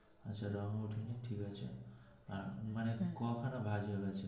আচ্ছা রং উঠিনি ঠিক আছে আহ মানে ক খানা ভাঁজ হয়েছে.